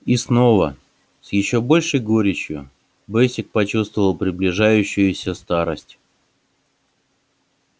и снова с ещё большей горечью бэсик почувствовал приближающуюся старость